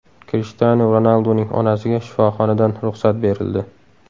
Krishtianu Ronalduning onasiga shifoxonadan ruxsat berildi.